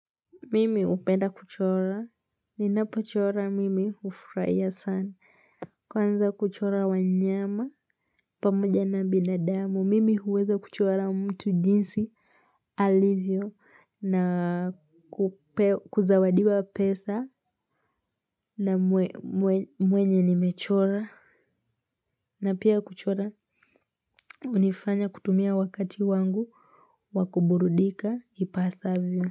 Mimi hupenda kuchora, ninapochora mimi hufurahia sana. Kwanza kuchora wanyama, pamoja na binadamu. Mimi huweza kuchora mtu jinsi, alivyo, na kuzawadiwa pesa na mwenye nimechora. Na pia kuchora, hunifanya kutumia wakati wangu, wa kuburudika, ipasavyo.